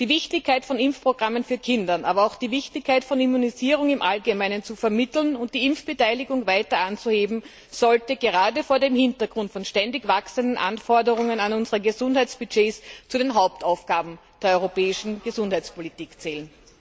Die Wichtigkeit von Impfprogrammen für Kinder, aber auch die Wichtigkeit von Immunisierung im Allgemeinen zu vermitteln und die Impfbeteiligung weiter anzuheben, sollte gerade vor dem Hintergrund von ständig wachsenden Anforderungen an unsere Gesundheitsbudgets zu den Hauptaufgaben der europäischen Gesundheitspolitik zählen.